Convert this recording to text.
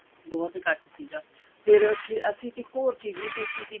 ਬਹੁਤ ਇੱਕਠ ਸੀਗਾ ਫੇਰ ਅਸੀਂ ਇੱਕ ਹੋਰ ਚੀਜ਼ ਵੀ ਦੇਖੀ ਸੀਗੀ